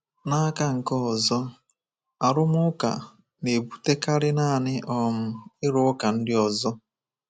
N'aka nke ọzọ, arụmụka na-ebutekarị naanị um ịrụka ndị ọzọ.